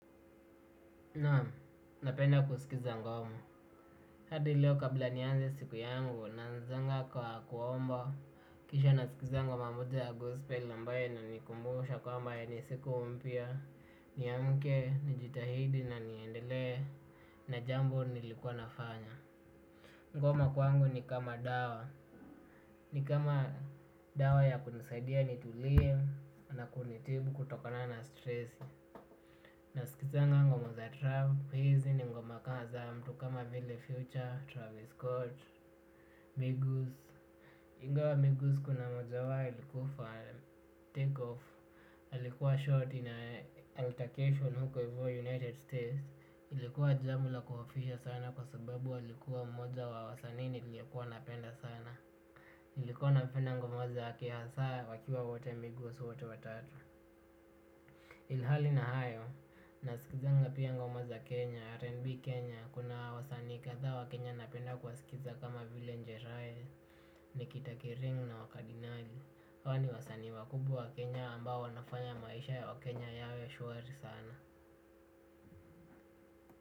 Naam, napenda kusikiza ngoma. Hadi leo kabla nianze siku yangu, na anzanga kwa kuomba. Kisha nasikiza ngoma moja ya gospe ambayo ina nikumbusha kwamba hii ni siku mpya. Niamuke, nijitahidi na niendele na jambo nilikuwa nafanya. Ngoma kwangu ni kama dawa. Ni kama dawa ya kunisaidia ni tulie na kunitibu kutokana na stress. Na sikizanga ngoma za Trance, hizi ni ngoma kaa za mtu kama Vile Future, Travis Scott, Bigos. Ingawa Bigos kuna mmoja wao alikufa take off, alikuwa short in altercation huko hivyo United States ilikuwa jambo la kuhofisha sana kwa sababu alikuwa mmoja wa wasanii niliokuwa napenda sana. Nilikua napenda ngoma zake hasa wakiwa wote Bigos wote watatu. Ilhali na hayo, nasikizanga pia ngoma za Kenya, R&B Kenya, kuna wasanii kadhaa wa Kenya napenda kuwasikiza kama vile njeraye, nikitakiringu na wakadinali, hawa ni wasanii wakubwa wa Kenya ambao wanafanya maisha ya wa Kenya yawe shwari sana.